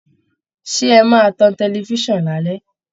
Ṣé ẹ máa tan tẹlifiṣan lálẹ̀?